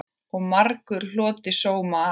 Og margur hlotið sóma af.